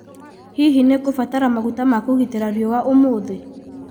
hihi nĩ ngũbatara maguta ma kũgitĩra riũa umuthi